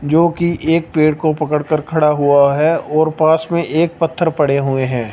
जोकि एक पेड़ को पकड़ कर खड़ा हुआ है और पास में एक पत्थर पड़े हुए हैं।